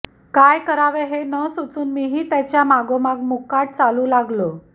काय करावे हे न सुचून मीही त्याच्या मागोमाग मुकाट चालू लागलो